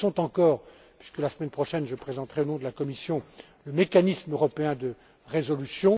elles le sont encore puisque la semaine prochaine, je présenterai, au nom de la Commission, le mécanisme européen de résolution.